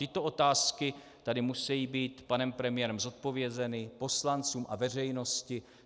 Tyto otázky tady musejí být panem premiérem zodpovězeny, poslancům a veřejnosti.